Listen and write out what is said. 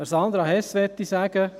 Zu Sandra Hess möchte ich sagen: